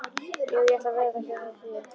Jú, ég ætla að veða hjá henni.